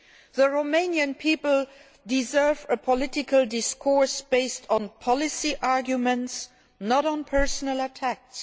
The Romanian people deserve a political discourse based on policy arguments, not on personal attacks.